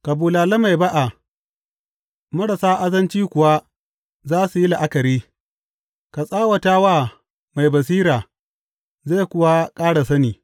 Ka bulale mai ba’a, marasa azanci kuwa za su yi la’akari; ka tsawata wa mai basira, zai kuwa ƙara sani.